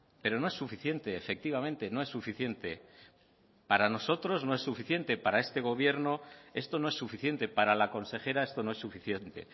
pero no es suficiente efectivamente no es suficiente para nosotros no es suficiente para este gobierno esto no es suficiente para la consejera esto no es suficiente